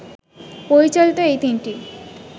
পরিচালিত এই তিনটি